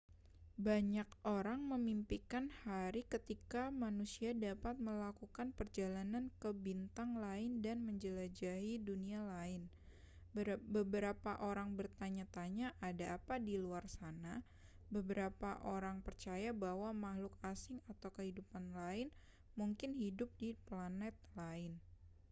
banyak orang memimpikan hari ketika manusia dapat melakukan perjalanan ke bintang lain dan menjelajahi dunia lain beberapa orang bertanya-tanya ada apa di luar sana beberapa orang percaya bahwa makhluk asing atau kehidupan lain mungkin hidup di planet lain